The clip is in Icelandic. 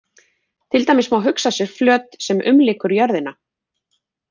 Til dæmis má hugsa sér flöt sem umlykur jörðina.